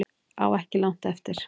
Á ekki langt eftir